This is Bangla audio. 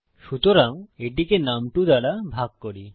সুতরাং এটিকে নুম2 দ্বারা ভাগ করি